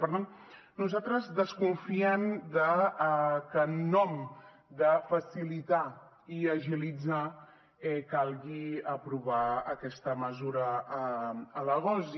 i per tant nosaltres desconfiem de que en nom de facilitar i agilitzar calgui aprovar aquesta mesura a l’agost